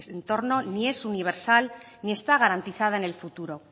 entorno ni es universal ni está garantizada en el futuro